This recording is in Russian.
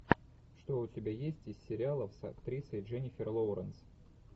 что у тебя есть из сериалов с актрисой дженнифер лоуренс